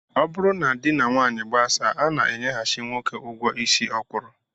Ọ bụrụ na di na nwaanyị gbasaa, a na-enyeghachị nwoke ụgwọ isi ọ kwụrụ